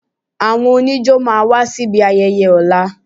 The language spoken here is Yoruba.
Àwọn oníjó máa wá síbi ayẹyẹ ọ̀la